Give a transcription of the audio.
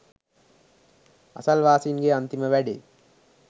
අසල්වාසීන්ගේ අන්තිම වැඩේ